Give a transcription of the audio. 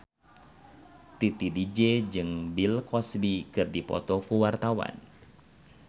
Titi DJ jeung Bill Cosby keur dipoto ku wartawan